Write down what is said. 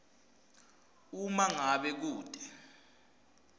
uma ngabe kute